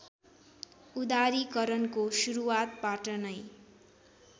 उदारीकरणको सुरूवातबाट नै